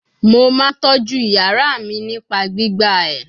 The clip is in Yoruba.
Mo ma toju iyara mi nipa gbigba e